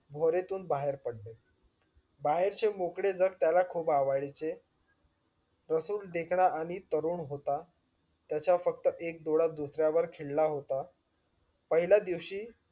भोरीतून बाहेर पडले बाहेर चे मोकळे जग त्याला खूप आवडीचे रसूल देखणा आणि तरुण होता. त्याचा फक्त एक डोळा दुसऱ्यावर खिळला होता पहिल्या दिवशी